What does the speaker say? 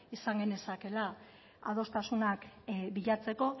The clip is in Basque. izan genezakeela adostasunak bilatzeko